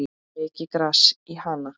Mikið gras er í Hana.